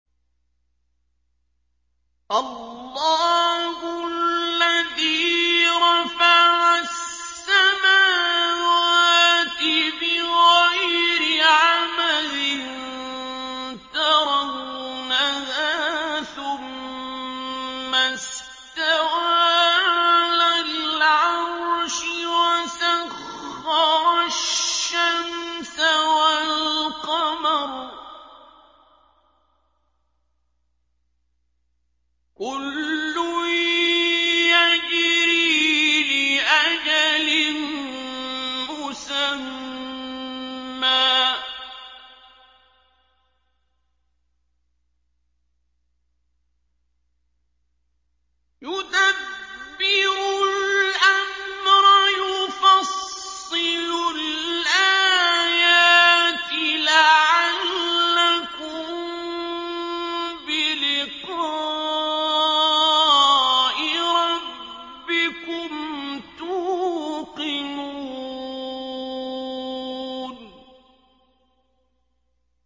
اللَّهُ الَّذِي رَفَعَ السَّمَاوَاتِ بِغَيْرِ عَمَدٍ تَرَوْنَهَا ۖ ثُمَّ اسْتَوَىٰ عَلَى الْعَرْشِ ۖ وَسَخَّرَ الشَّمْسَ وَالْقَمَرَ ۖ كُلٌّ يَجْرِي لِأَجَلٍ مُّسَمًّى ۚ يُدَبِّرُ الْأَمْرَ يُفَصِّلُ الْآيَاتِ لَعَلَّكُم بِلِقَاءِ رَبِّكُمْ تُوقِنُونَ